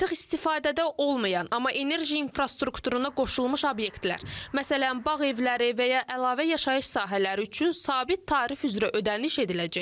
Artıq istifadədə olmayan, amma enerji infrastrukturuna qoşulmuş obyektlər, məsələn, bağ evləri və ya əlavə yaşayış sahələri üçün sabit tarif üzrə ödəniş ediləcək.